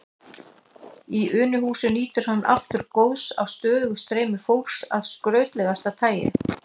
Í Unuhúsi nýtur hann aftur góðs af stöðugu streymi fólks af skrautlegasta tagi.